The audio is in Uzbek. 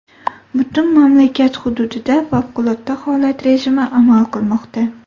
Butun mamlakat hududida favqulodda holat rejimi amal qilmoqda.